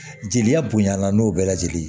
Jeli bonyana n'o bɛɛ lajɛlen